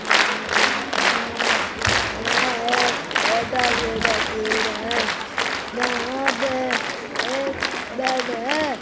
Hello दोस्तो यह एक होटल की तस्वीर है यहां पे एक बेड है।